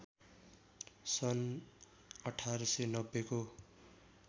सन् १८९० को